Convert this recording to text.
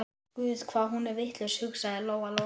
Vegir hans eru órannsakanlegir, segja karlarnir.